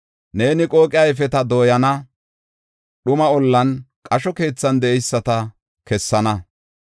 Neeni qooqe ayfeta dooyana; dhuma ollan, qasho keethan de7eyisata kessana.